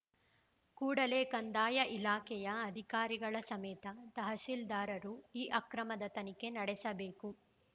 ಕೂಡಲೇ ಕಂದಾಯ ಇಲಾಖೆಯ ಅಧಿಕಾರಿಗಳ ಸಮೇತ ತಹಶೀ ಲ್ದಾರರು ಈ ಅಕ್ರಮದ ತನಿಖೆ ನಡೆಸಬೇಕು